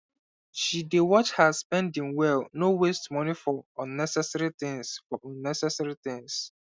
she dey watch her spending well no waste moni for unnecessary things for unnecessary things